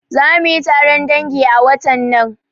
Zamuyi taron dangi a watan nan